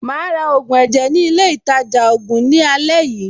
Màá ra ògùn ẹ̀jẹ̀ ní ilé-ìtajà-ògùn ní àlẹ́ yìí.